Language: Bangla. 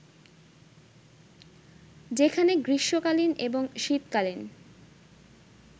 যেখানে গ্রীষ্মকালীন এবং শীতকালীন